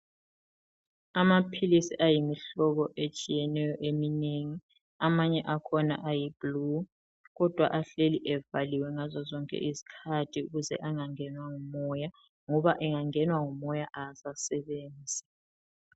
Amaphilizi ayimihlobo etshiyeneyo eminengi amanye akhona ayiblue kodwa ahleli evaliwe ngazozonke izikhathi ukuze engangenwa ngumoya ngoba angangenwa ngumoya awasasebenzi.